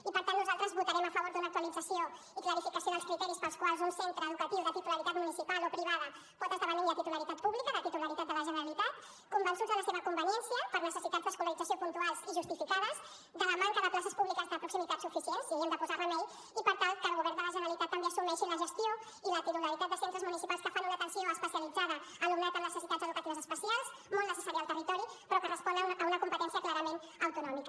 i per tant nosaltres votarem a favor d’una actualització i clarificació dels criteris pels quals un centre educatiu de titularitat municipal o privada pot esdevenir de titularitat pública de titularitat de la generalitat convençuts de la seva conveniència per necessitats d’escolarització puntuals i justificades de la manca de places públiques de proximitat suficients hi havíem de posar remei i per tant que el govern de la generalitat també assumeixi la gestió i la titularitat de centres municipals que fan una atenció especialitzada a alumnat amb necessitats educatives especials molt necessària al territori però que respon a una competència clarament autonòmica